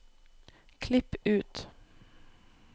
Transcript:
Klipp ut